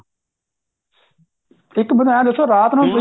ਇੱਕ ਮੈਨੂੰ ਐਂ ਦੱਸੋ ਰਾਤ ਨੂੰ